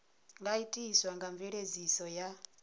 nga itiswa nga mveledziso ya